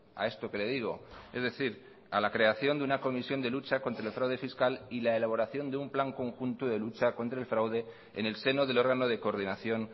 a esto que le digo es decir a la creación de una comisión de lucha contra el fraude fiscal y la elaboración de un plan conjunto de lucha contra el fraude en el seno del órgano de coordinación